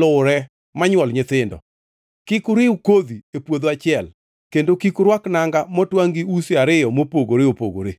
luwre ma nywol nyithindo. “ ‘Kik uriw kodhi e puodho achiel, kendo kik urwak nanga motwangʼ gi usi ariyo mopogore opogore.